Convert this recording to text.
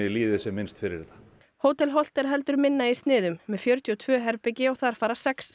líði sem minnst fyrir þetta hótel Holt er heldur minna í sniðum með fjörutíu og tvö herbergi og þar fara sex